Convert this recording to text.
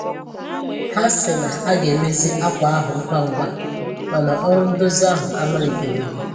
Ha sị na a ga-emezi akwa ahụ ngwa ngwa, ma na ọrụ ndozi ahụ amalite-beghi